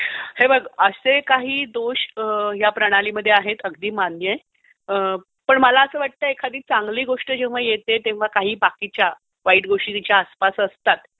हे बघ, असे काही दोष या प्रणालीमध्ये आहे हे मान्य आहे. पण मला असं वाटतं, एखादी चांगली गोष्ट जेव्हा येते तेव्हा काही बाकीच्या वाईट गोष्टी तिच्या आसपास असतात.